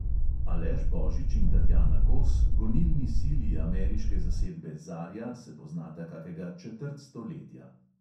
Aleš božič in tatjana kos, gonilni sili ameriške zasedbe zarja, se poznata kakega četrt stoletja.